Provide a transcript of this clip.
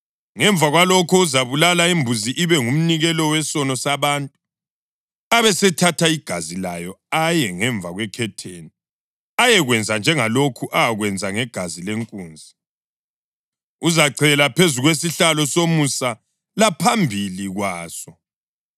Ngemva kwalokho, uzabulala imbuzi ibe ngumnikelo wesono sabantu, abesethatha igazi layo aye ngemva kwekhetheni, ayekwenza njengalokhu akwenze ngegazi lenkunzi: Uzachela phezu kwesihlalo somusa laphambili kwaso.